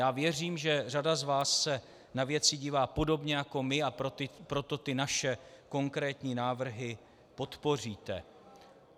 Já věřím, že řada z vás se na věci dívá podobně jako my, a proto ty naše konkrétní návrhy podpoříte.